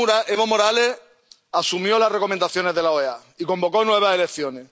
Evo Morales asumió las recomendaciones de la OEA y convocó a nuevas elecciones.